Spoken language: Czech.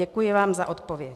Děkuji vám za odpověď.